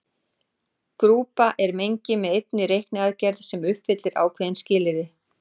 Grúpa er mengi með einni reikniaðgerð sem uppfyllir ákveðin skilyrði.